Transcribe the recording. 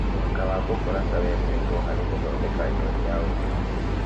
Mwanga wa bukuraca wendetwo harĩ gũthondeka njohi cia ũndũire